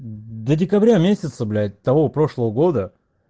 до декабря месяца блять того прошлого года